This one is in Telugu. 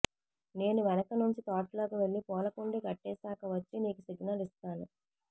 నేను వెనకనుంచి తోటలోకి వెళ్ళి పూలకుండీ కట్టేసాక వచ్చి నీకు సిగ్నల్ ఇస్తాను